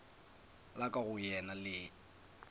la ka go yena le